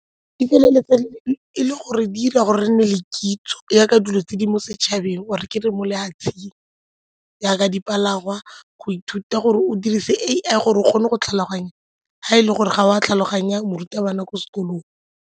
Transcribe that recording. Di feleletsa e le gore di ira gore re nne le kitso jaaka dilo tse di mo setšhabeng or-e ke re mo lefatsheng jaaka dipalangwa go ithuta gore o dirise A_I gore o kgone go tlhaloganya ga e le gore ga o a tlhaloganya morutabana ko sekolong.